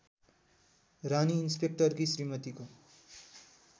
रानी इन्सपेक्टरकी श्रीमतीको